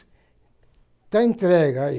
Está entregue aí.